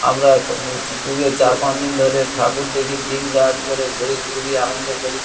আমরা উ উ ক পুজোর চার পাঁচ দিন ধরে ঠাকুর দেখি দিনরাত করে ঘুরি খুবই আনন্দ করি।